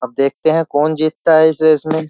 अब देखते हैं कौन जीतता है इस रेस में --